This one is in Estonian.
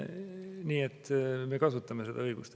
Nii et me kasutame seda õigust.